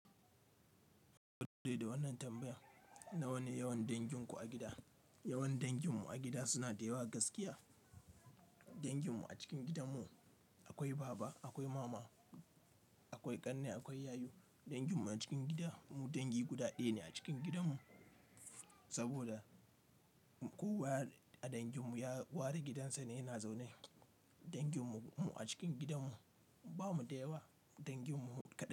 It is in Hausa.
De da wannan tambaya. Na wane yawan danginku a gida? Yawan danginmu a gida suna da yawa gaskiya. Danginmu a cikin gidanmu akwai baba, akwai mama, akwai ƙanne, akwai yayu. Danginmu a cikin gida, mu dangi guda ɗaya ne a cikin gidanmu. Saboda kowa a danginmu ya ware gidansa ne yana zaune. Danginmu a cikin gidanmu bamu da yawa danginmu kadan.